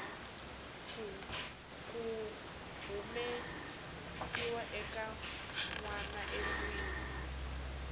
ku humesiwa ka nwanaendlwini